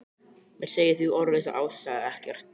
Mér segir því orð einsog ástæða ekkert.